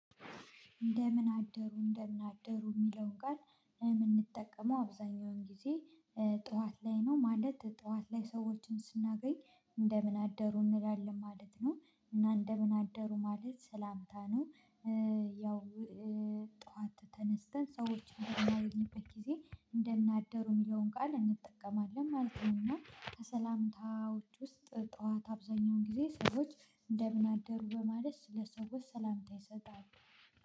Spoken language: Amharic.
እንደምን አደሩ እንደምን አደሩ የሚለውን ቃል የምንጠቀመው አብዛኛውን ጊዜ ጠዋት ላይ ነው ማለት ጠዋት ላይ ሰዎችን ስናገኝ እንደምን አደሩ እንላለን ማለት ነው እና እንደምን አደሩ ማለት ሰላምታ ነው። ያው ጠዋት ተነስተን ሰዎችን በምናይበት ጊዜ እንደምናደሩ የሚለውን ቃል እንጠቀማለን ማለት ነውና ከሰላምታዎች ውስጥ ጠዋት አብዛኛውን ጊዜ ሰዎች እንደምን አደሩ በማለት ስለሰዎች ሰላምታ ይሰጣሉ